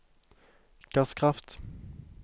gasskraft